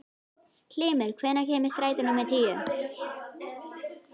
Hymir, hvenær kemur strætó númer tíu?